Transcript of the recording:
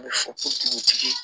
A bɛ fɔ ko dugutigi ye